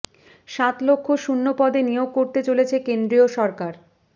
সাত লক্ষ শূন্য পদে নিয়োগ করতে চলেছে কেন্দ্রীয় সরকার